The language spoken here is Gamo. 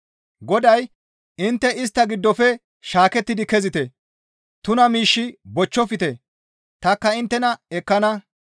Goday, «Intte istta giddofe shaakettidi kezite! Tuna miish bochchofte; tanikka inttena ekkana.